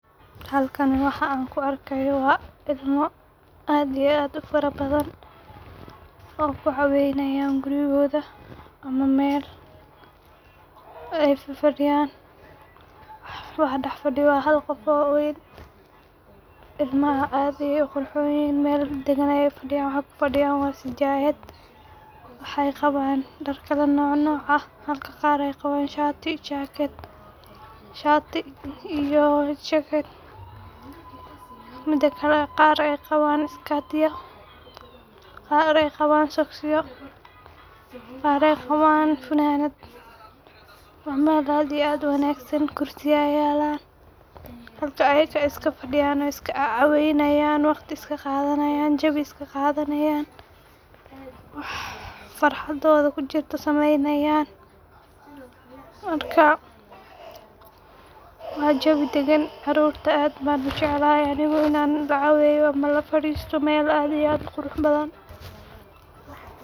Halkani waxan ku argayo waa ilmo aad iyo aad ufarabadn oo kuu cawanyan guurikoda. ama mal ay faa fadiyan Waxa daxa fadiyoh Waxa dax fadiyoh hal qof oo waan ilmaha aad ayay uquxuhon yihin waxay ku radius sijayad waxay qawan dar kala noc noc ah halka qarayqaran. [shati] [jacket] midkle qar ay qawan iskdiyo qar nah ay qawan socasisyo qar an ay qawan fananayo waa mal aad Iyo aad uu wagsan gursiyo aya yalan halka ayaka iska fadiyan iska cawawayan waqti iska qadanayin jawi iska qadanayin wax faraxdo ku jirtah samaynayan. marka waa jawi dagan caruta ad ban ujacalahay Aniga ina laa cawayo ama laa fadistoh aad uqurux badan.